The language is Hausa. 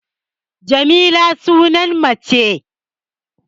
Jamila sunan mace